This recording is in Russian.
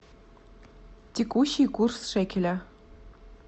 текущий курс шекеля